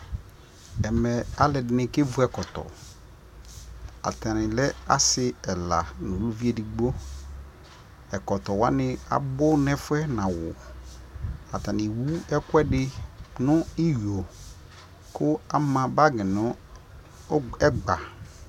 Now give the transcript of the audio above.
ɛmɛ alʋɛdini kɛvʋ ɛkɔtɔ, atani lɛ asii ɛla nʋ ʋlʋvi ɛdigbɔ, ɛkɔtɔ wani abʋ nʋ ɛƒʋɛ nʋ awʋ, atani ɛwʋ ɛkʋɛdi nʋ iyɔɔ kʋ ama bagi nʋ ɛgba